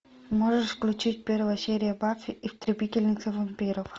можешь включить первая серия баффи истребительница вампиров